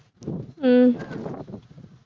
உம்